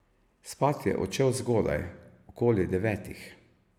Spat je odšel zgodaj, okoli devetih.